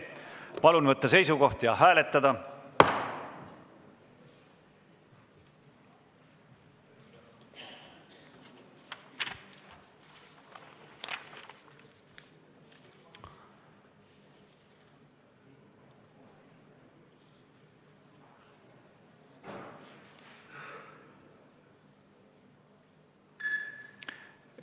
Palun võtta seisukoht ja hääletada!